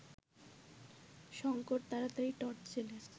শঙ্কর তাড়াতাড়ি টর্চ জ্বেলে